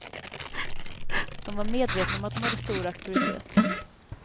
De var medvetna om att de hade stor auktoritet.